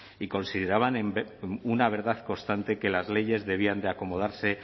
y consideraban una verdad constante que las leyes debían de acomodarse